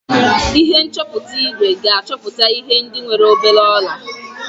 Ihe nchọpụta igwe ga-achọpụta ihe ndị nwere obere ọla